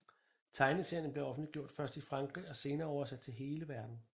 Tegneseriererne blev offentliggjort først i Frankrig og senere oversat til hele verden